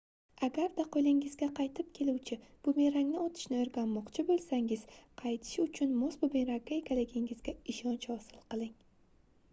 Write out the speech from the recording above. agarda qoʻlingizga qaytib keluvchi bumerangni otishni oʻrganmoqchi boʻlsangiz qaytishi uchun mos bumerangga egaligingizga ishonch hosil qiling